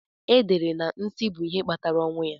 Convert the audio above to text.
E dere na nsí bụ ihe kpatara ọnwụ ya.